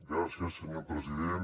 gràcies senyor president